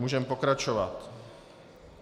Můžeme pokračovat.